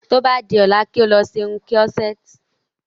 Tí o bá di ọ́la kí o lọ ṣe irun kírọ́sẹ̀tì